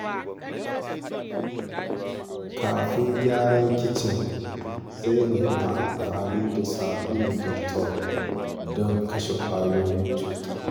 Kafin gyara kicin, Zainab na amfani da sabulun Dettol don kashe ƙwayoyin cuta.